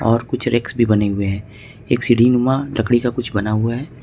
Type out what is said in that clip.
और कुछ रेक्स भी बने हुए हैं एक सीढ़ी नुमा लकड़ी का कुछ बना हुआ है।